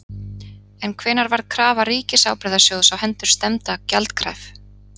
En hvenær varð krafa Ríkisábyrgðasjóðs á hendur stefnda gjaldkræf?